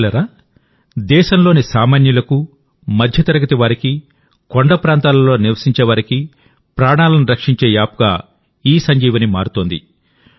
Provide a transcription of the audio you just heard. మిత్రులారాదేశంలోని సామాన్యులకు మధ్యతరగతి వారికి కొండ ప్రాంతాలలో నివసించే వారికి ప్రాణాలను రక్షించే యాప్గాఇసంజీవని మారుతోంది